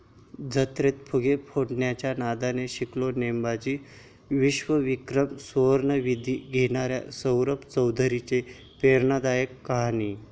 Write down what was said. जत्रेत फुगे फोडायच्या नादाने शिकला नेमबाजी, विश्वविक्रमी सुवर्णवेध घेणाऱ्या सौरभ चौधरीची प्रेरणादायी कहाणी